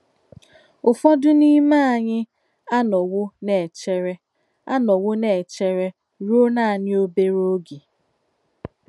Ùfọ́dú n’ímè ányị̀ ànọ̀wò nà-èchèrè ànọ̀wò nà-èchèrè rùò nánị̀ òbéré ògé.